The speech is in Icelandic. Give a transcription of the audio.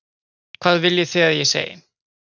Hvað viljið þið að ég segi?